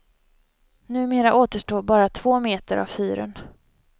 Numera återstår bara två meter av fyren.